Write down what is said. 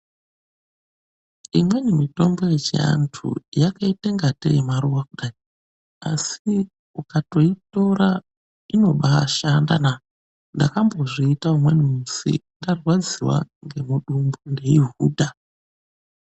Imweni mitombo yechiantu yakaitangatei maruwa asi ukatoitora inobashandana. Ndakambozviita umweni musi ndarwadziwa ngemudumbu ndeihudhaa.